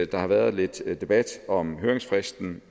der har været lidt debat om høringsfristen